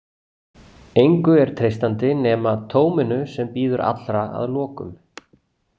Engu er treystandi nema tóminu sem bíður allra að lokum.